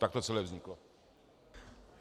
Tak to celé vzniklo.